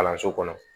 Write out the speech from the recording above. Kalanso kɔnɔ